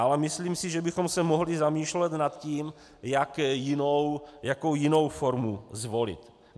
Ale myslím si, že bychom se mohli zamýšlet nad tím, jakou jinou formu zvolit.